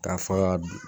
K'a fɔ k'a don